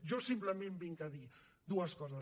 jo simplement vinc a dir dues coses